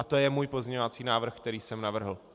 A to je můj pozměňovací návrh, který jsem navrhl.